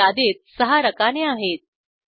या यादीत सहा रकाने आहेत